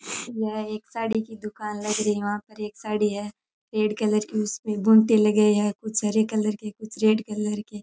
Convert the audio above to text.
यह एक साड़ी की दूकान लग रही है वहां पर एक साड़ी है रेड कलर की उसमें बूंटे लगे हुए हैं कुछ हरे कलर की कुछ रेड कलर के --